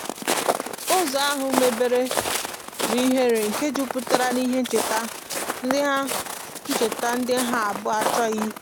ụzo ahu mebere n'ihere nke juputara n'ihe ncheta ndi ha ncheta ndi ha abuo achoghi ikwu